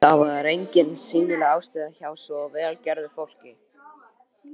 Það var engin sýnileg ástæða hjá svo vel gerðu fólki.